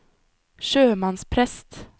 sjømannsprest